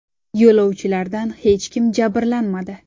Yo‘lovchilardan hech kim jabrlanmadi.